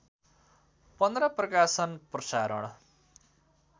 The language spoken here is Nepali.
१५ प्रकाशन प्रशारण